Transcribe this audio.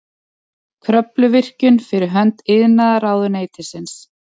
Kröfluvirkjun fyrir hönd iðnaðarráðuneytisins.